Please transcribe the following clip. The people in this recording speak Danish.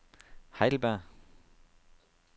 Heidelberg